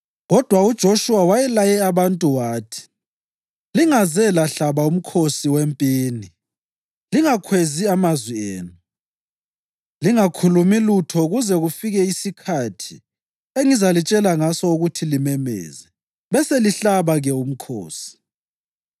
Kodwa uJoshuwa wayelaye abantu wathi, “Lingaze lahlaba umkhosi wempini, lingakhwezi amazwi enu, lingakhulumi lutho kuze kufike isikhathi engizalitshela ngaso ukuthi limemeze. Beselihlaba-ke umkhosi.”